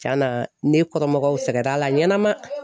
Cɛna ne kɔrɔmɔgɔw sɛgɛrɛ a la ɲɛnama